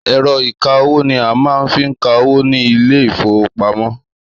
Èro ìka-owó ni a máa ń fi ka owó ní Ilé-ìfowópamó.